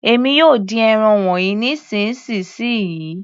Èmi yóò dín ẹran wọnyí nísìnsisìyí.